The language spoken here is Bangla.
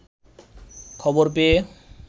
খবর পেয়ে